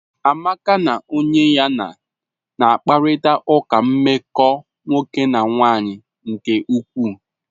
Amaka na onye ya na na-akparịta ụka nmeko nwoke na nwanyị nke ukwuu.